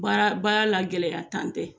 Baara la gɛlɛyantan tɛ